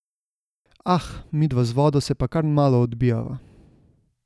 Ah, midva z vodo se pa kar malo odbijava.